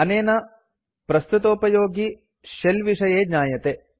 अनेन प्रस्तुतोपयोगि शेल विषये ज्ञायते